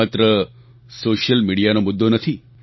આ માત્ર સોશિયલ મીડિયાનો મુદ્દો નથી